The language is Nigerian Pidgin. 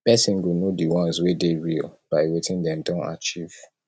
persin go know di ones wey de real by wetin dem don achieve